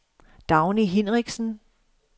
Dagny Hinrichsen